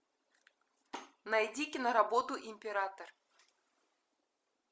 найди киноработу император